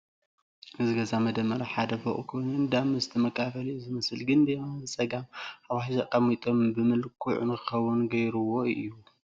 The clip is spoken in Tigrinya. እዚ ገዛ መደመር ሓደ ፎቕ ኮይኑ እንዳ መስተ መከፋፈሊ እዩ ዝመስል ግን ብየማን ብፀጋም ዓፉሻት ኣቐሚጦም ምልኩዕ ንኸይኸውን ገይሩዎ እዩ ።